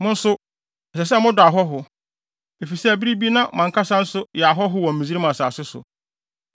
Mo nso, ɛsɛ sɛ modɔ ahɔho, efisɛ bere bi na mo ankasa nso yɛ ahɔho wɔ Misraim asase so.